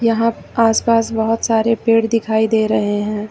यहां आस पास बहुत सारे पेड़ दिखाई दे रहे हैं।